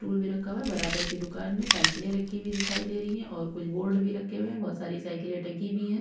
Tool भी रखा हुआ है बराबर के दुकान में साइकिले रखी हुई दिखाई दे रही है और कुछ बोर्ड भी रखे हुए है बोहत सारी साइकिले टंगी भी है।